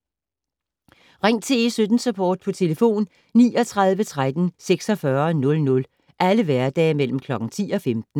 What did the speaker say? Ring til E17-Support på 39 13 46 00 alle hverdage mellem kl. 10 og 15